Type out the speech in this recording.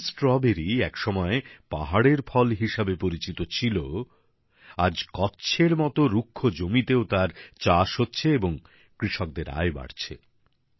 যে স্ট্রবেরী এক সময় পাহাড়ের ফল হিসেবে পরিচিত ছিল আজ কচ্ছ এর মতো রুক্ষ জমিতেও তার চাষ হচ্ছে এবং কৃষকদের আয় বাড়ছে